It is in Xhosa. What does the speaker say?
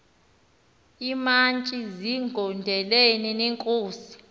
iimantyi zigondelene neenkosi